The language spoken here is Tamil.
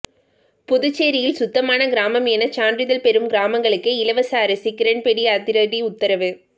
புதுச்சேரியில் சுத்தமான கிராமம் என சான்றிதழ் பெறும் கிராமங்களுக்கே இலவச அரிசி கிரண்பேடி அதிரடி உத்தரவு